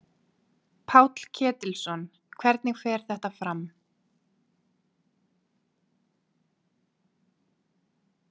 Páll Ketilsson: Hvernig fer þetta fram?